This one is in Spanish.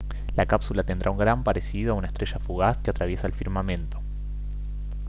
la cápsula tendrá un gran parecido a una estrella fugaz que atraviesa el firmamento